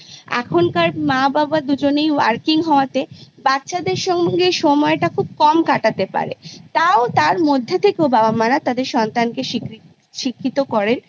এখনকার মা বাবা দুজনেই Working হওয়াতে বাচ্ছাদের সঙ্গে সময়টা খুব কম কাটাতে পারে তও তার মধ্যে থেকেও বাবা মারা তার সন্তানকে শিক্ষিত শিক্ষিত করেন